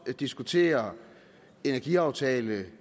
diskutere energiaftale